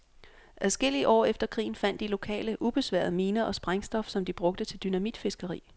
Adskillige år efter krigen fandt de lokale ubesværet miner og sprængstof, som de brugte til dynamitfiskeri.